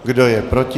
Kdo je proti?